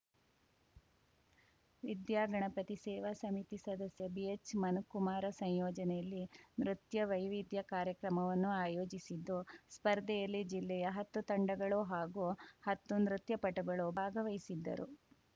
ವಿದ್ಯಾಗಣಪತಿ ಸೇವಾ ಸಮಿತಿ ಸದಸ್ಯ ಬಿಎಚ್‌ಮನುಕುಮಾರ್‌ ಸಂಯೋಜನೆಯಲ್ಲಿ ನೃತ್ಯ ವೈವಿಧ್ಯ ಕಾರ್ಯಕ್ರಮವನ್ನು ಆಯೋಜಿಸಿದ್ದು ಸ್ಪರ್ಧೆಯಲ್ಲಿ ಜಿಲ್ಲೆಯ ಹತ್ತು ತಂಡಗಳು ಹಾಗೂ ಹತ್ತು ನೃತ್ಯಪಟುಗಳು ಭಾಗವಹಿಸಿದ್ದರು